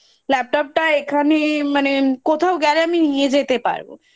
Laptop টা এখানে মানে কোথাও গেলে আমি নিয়ে যেতে পারব